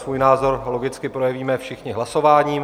Svůj názor logicky projevíme všichni hlasováním.